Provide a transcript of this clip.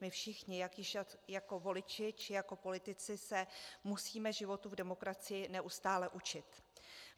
My všichni ať již jako voliči, či jako politici se musíme životu v demokracii neustále učit.